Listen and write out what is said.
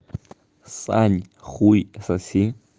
сань хуй соси